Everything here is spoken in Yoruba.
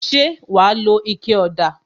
Ṣé wa lo ike ọ̀dà?